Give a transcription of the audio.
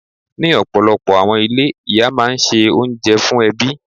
Ní ọ̀pọ̀lọpọ̀ àwọn ilé, Ìyá máa ń ṣe oúnjẹ fún ẹbí.